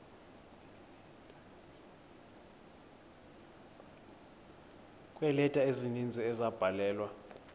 kweeleta ezininzi ezabhalelwa